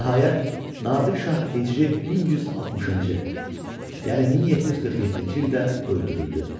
Nəhayət, Nadir Şah Hicri 1160-cı, yəni 1747-ci ildə öldürüldü.